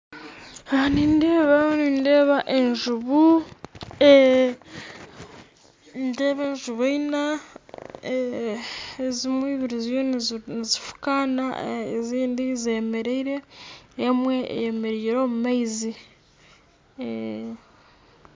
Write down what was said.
Aha nindeeba nindeeba enjubu nindeeba enjubu ina, ezimwe ibiri ziriyo nizifukaana ezindi zemereire emwe eyemereire omu maizi.